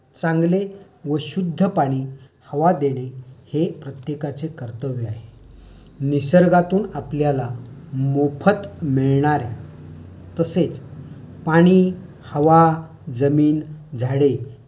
चांगले व शुध्द पाणी व हवा देणे हे प्रत्येकाचे कर्तव्य आहे. निसर्गातून आपल्याला मोफत मिळणार् या तसेच पाणी, हवा, जमीन, झाडे